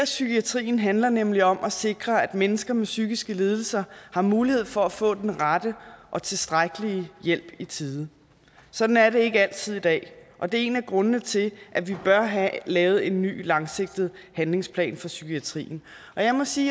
psykiatrien handler nemlig om at sikre at mennesker med psykiske lidelser har mulighed for at få den rette og tilstrækkelige hjælp i tide sådan er det ikke altid i dag og det er en af grundene til at vi bør have lavet en ny langsigtet handlingsplan for psykiatrien jeg må sige